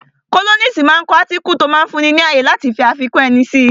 Kólọ́nisi máa ń kọ átíkù tí ó máa ń fún ni ní ààyè láti fi àfikún ẹni si